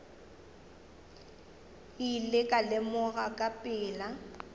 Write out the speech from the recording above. ile ka lemoga ka pela